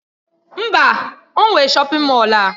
Mba! O nwe shọpin Mọll a.